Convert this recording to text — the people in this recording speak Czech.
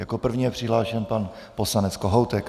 Jako první je přihlášen pan poslanec Kohoutek.